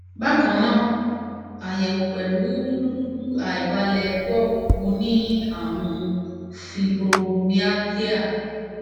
bákan náà ayẹwo pẹlu rudurudu aibalẹ gbog mo ní àrùn fibromyalgia